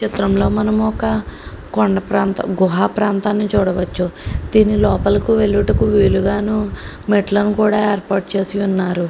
చిత్రంలో మనము ఒక కొండ ప్రాంతం గృహ ప్రాంతాన్ని చూడవచ్చు దీని లోపలికి వెళ్ళుటకు వీలుగా మెట్లను కూడా ఏర్పాటు చేసి ఉన్నారు.